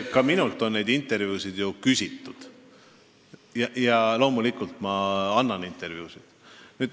Ka minult on neid intervjuusid küsitud ja loomulikult ma annan intervjuusid.